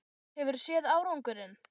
Hefurðu séð árangurinn?